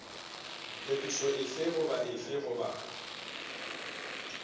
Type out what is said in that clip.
phetošo efe goba efe goba